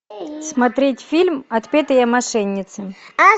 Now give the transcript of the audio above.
смотреть фильм отпетые мошенницы